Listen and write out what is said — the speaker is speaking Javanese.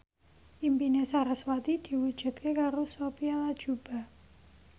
impine sarasvati diwujudke karo Sophia Latjuba